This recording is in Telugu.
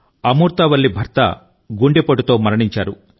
అమూర్తా వల్లి భర్త గుండెపోటుతో విషాదకరంగా మరణించారు